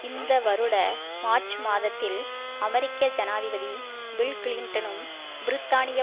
இந்த வருட மார்ச் மாதத்தில் அமெரிக்க ஜனாதிபதி பில்கிளின்டனும் பிரித்தானிய